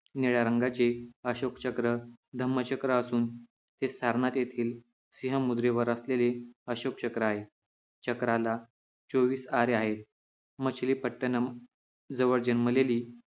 निळ्या रंगाचे अशोक चक्र धम्म चक्र असून हे सारनाथ येथील सिंह मुद्रेवर असलेले अशोक चक्र आहे चक्राला चोवीस आरे आहे मच्छलीपट्टणम जवळ जन्मलेली